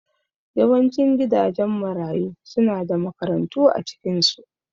Yawancin gidajen marayu suna da makarantu a cikinsu